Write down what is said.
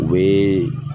U bɛ